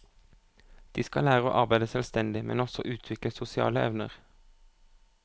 De skal lære å arbeide selvstendig, men også utvikle sosiale evner.